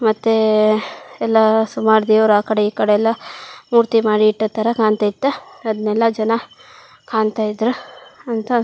ಮತ್ತೆ ಎಲ್ಲಾ ಸುಮಾರ್ ದೇವ್ರ್ ಆಕಡೆ ಈಕಡೆ ಎಲ್ಲಾ ಮೂರ್ತಿ ಮಾಡಿ ಇಟ್ಟತರ ಕಾಣತ್ತಾ ಇತ್ತು ಅದ್ನೇಲ್ಲಾ ಜನ ಕಾಣತ್ತಾ ಇದ್ರು ಅಂತ --